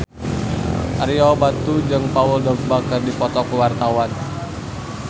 Ario Batu jeung Paul Dogba keur dipoto ku wartawan